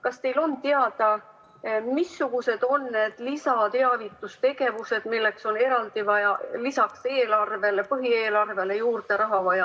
Kas teil on teada, missugused on need lisateavitustegevused, milleks on vaja ERR-ile lisaks põhieelarvele raha juurde anda?